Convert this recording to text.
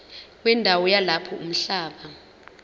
wendawo yalapho umhlaba